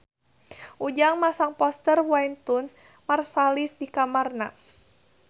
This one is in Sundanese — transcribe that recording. Ujang masang poster Wynton Marsalis di kamarna